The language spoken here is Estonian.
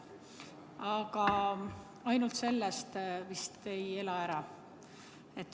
Aga ainult sellest vist ei ela ära.